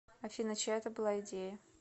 афина чья это была идея